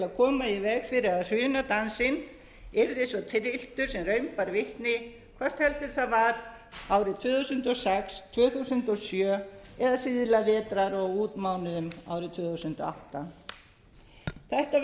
koma í veg fyrir að hrunadansinn yrði svo trylltur sem raun bar vitni hvort heldur það var árið tvö þúsund og sex tvö þúsund og sjö eða síðla vetrar og á útmánuðum árið tvö þúsund og átta þetta verður að